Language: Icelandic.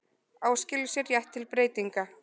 Áskilur sér rétt til breytinga